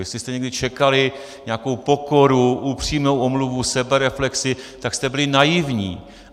Jestli jste někdy čekali nějakou pokoru, upřímnou omluvu, sebereflexi, tak jste byli naivní.